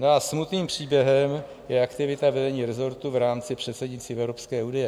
No a smutným příběhem je aktivita vedení resortu v rámci předsednictví v Evropské unii.